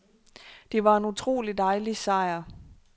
Det var en utrolig dejlig sejr.